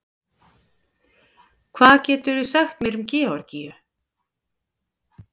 Hvað getur þú sagt mér um Georgíu?